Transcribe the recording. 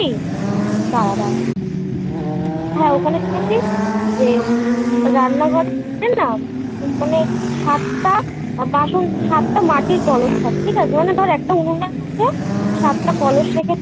দাঁড়া হ্যাঁ ওখানে শুনেছি যে রান্নাঘর আছে না মানে সাতটা আর বাসন সাত টা মাটির কলস থাকে ঠিক আছে মানে ধর একটা উনুন আছে সাতটা কলস রেখেছে